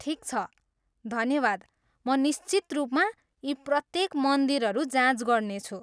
ठिक छ, धन्यवाद, म निश्चित रूपमा यी प्रत्येक मन्दिरहरू जाँच गर्नेछु!